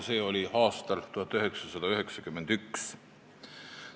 See oli aastal 1991.